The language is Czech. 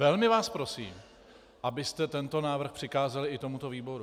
Velmi vás prosím, abyste tento návrh přikázali i tomuto výboru.